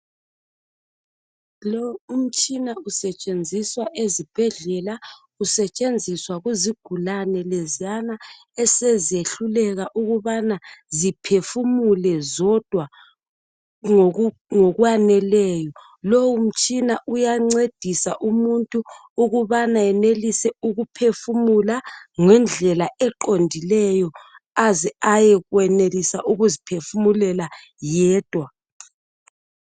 Lo umtshina usetshenziswa ezibhendlela usetshenziswa kuezigulane leziyana esezehluleka ukubana ziphefumule zodwa ngokwaneleyo lowu mtshina iyancedisa umuntu ukubana benelise ukuphefumula ngendlela eqondileyo aze aye kwemelisa ukuziphefumulela yedwa